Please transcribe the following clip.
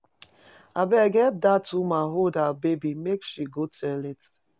Abeg help dat woman hold her baby make she go toilet.